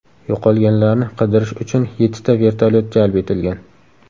Yo‘qolganlarni qidirish uchun yettita vertolyot jalb etilgan.